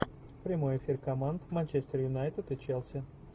прямой эфир команд манчестер юнайтед и челси